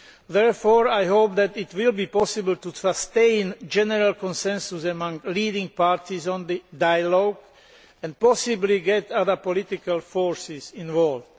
Therefore, I hope that it will be possible to sustain a general consensus among leading parties on the dialogue and possibly get other political forces involved.